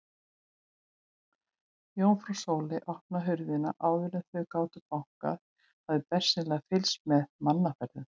Jómfrú Sóley opnaði hurðina áður en þau gátu bankað, hafði bersýnilega fylgst með mannaferðum.